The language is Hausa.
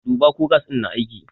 Duba ko gas ɗin na aiki!